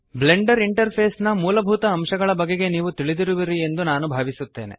Blender interface ನ ಮೂಲಭೂತ ಅಂಶಗಳ ಬಗೆಗೆ ನೀವು ತಿಳಿದಿರುವಿರಿ ಎಂದು ನಾನು ಭಾವಿಸುತ್ತೇನೆ